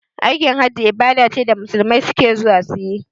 Aikin hajji ibada ce da musulmai suke zuwa suyi